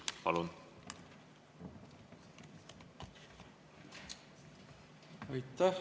Palun!